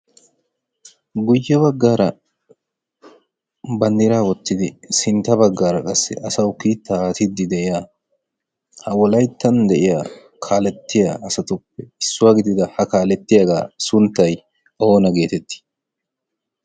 guyye baggaara bannira wottidi sintta baggaara qassi asau kiitta aatiddi de'iya ha wolaittan de'iya kaalettiya asatuppe issuwaa gidida ha kaalettiyaagaa sunttay oona geetettii?